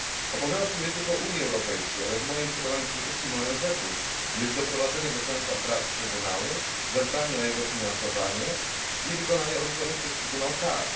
Obowiązkiem nie tylko Unii Europejskiej, ale w moim przekonaniu przede wszystkim ONZ, jest doprowadzenie do końca prac Trybunału, zadbanie o jego finansowanie i wykonanie orzeczonych przez Trybunał kar.